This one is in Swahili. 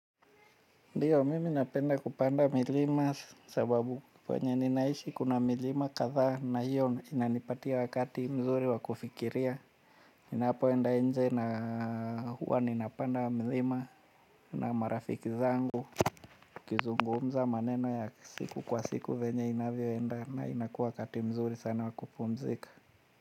Ndiyo mimi napenda kupanda milima sababu kwenye ninaishi kuna milima kadhaa na hiyo inanipatia wakati mzuri wa kufikiria. Ninapo enda nje na huwa ninapanda milima na marafiki zangu kizungumza maneno ya siku kwa siku venye inavyoenda na inakuwa wakati mzuri sana wa ku pumzika.